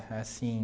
Assim...